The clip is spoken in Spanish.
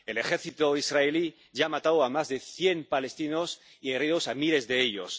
El ejército israelí ya ha matado a más de cien palestinos y herido a miles de ellos.